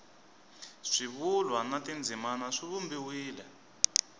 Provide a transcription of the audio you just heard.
swivulwa na tindzimana swi vumbiwile